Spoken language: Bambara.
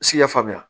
Siɲɛ faamuya